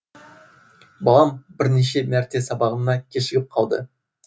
балам бірнеше мәрте сабағына кешігіп қалды